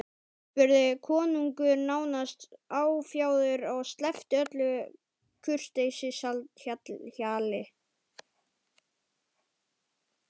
spurði konungur nánast áfjáður og sleppti öllu kurteisishjali.